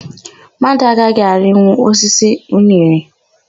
Mmadụ agaghị arịnwu osisi unere.